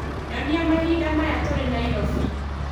Nyonia mahinda maya tũrĩ Nairobi